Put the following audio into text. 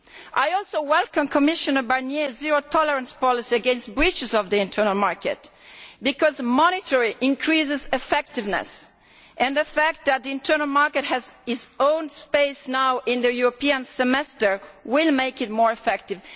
I also welcome Commissioner Barnier's zero tolerance policy against breaches of the internal market, because monitoring increases effectiveness, and the fact that the internal market now has its own space in the European Semester will make it more effective.